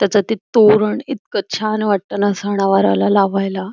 त्याच ते तोरण इतक छान वाटत ना सना वाराला लावायला.